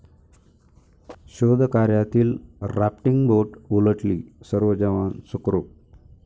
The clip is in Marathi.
शोधकार्यातील राफ्टिंग बोट उलटली, सर्व जवान सुखरुप